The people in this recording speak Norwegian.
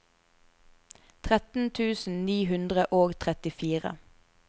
tretten tusen ni hundre og trettifire